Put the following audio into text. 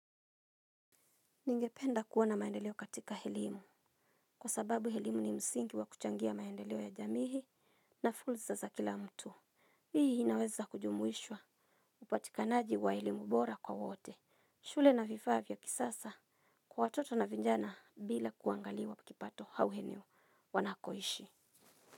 Ningependa kuona maendeleo katika helimu. Kwa sababu helimu ni msingi wa kuchangia maendeleo ya jamihi na fulza za kila mtu. Hii hinaweza kujumuishwa. Upatikanaji wa helimu bora kwa wote shule na vifavya kisasa. Kwa watoto na vinjana bila kuangaliwa pikipato hauheneo wanakoishi.